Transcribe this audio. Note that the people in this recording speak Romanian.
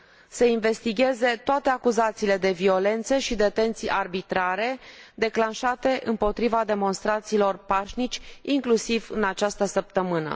să investigheze toate acuzațiile de violențe și detenții arbitrare declanșate împotriva demonstranților pașnici, inclusiv în această săptămână.